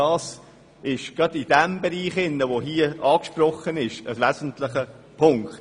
Dies ist gerade in diesem Segment, von dem hier die Rede war, ein wesentlicher Punkt.